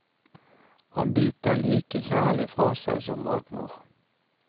Han biter like kjærlig fra seg som matmor.